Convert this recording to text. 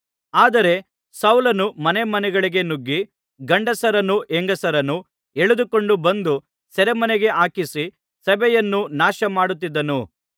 ಆದರೆ ಸೌಲನು ಮನೆಮನೆಗಳಿಗೆ ನುಗ್ಗಿ ಗಂಡಸರನ್ನೂ ಹೆಂಗಸರನ್ನೂ ಎಳೆದುಕೊಂಡು ಬಂದು ಸೆರೆಮನೆಗೆ ಹಾಕಿಸಿ ಸಭೆಯನ್ನು ನಾಶಮಾಡುತ್ತಿದ್ದನು